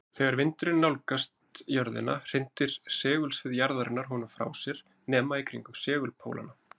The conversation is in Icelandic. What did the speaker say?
Þegar vindurinn nálgast jörðina hrindir segulsvið jarðarinnar honum frá sér nema í kringum segulpólana.